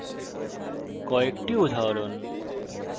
কয়েকটি উদাহরণ